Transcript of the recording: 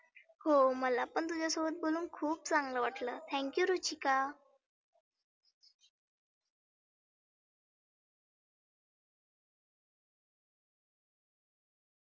हो मला पण तुझ्यासोबत बोलुन खुप चांगलं वाटलं thank you रुचीका.